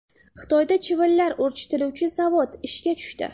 Xitoyda chivinlar urchitiluvchi zavod ishga tushdi.